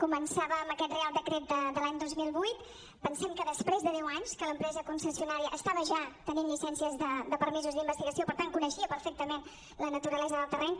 començava amb aquest reial decret de l’any dos mil vuit pensem que després de deu anys que l’em·presa concessionària estava ja tenint llicències de permisos d’investigació per tant coneixia perfectament la naturalesa del terreny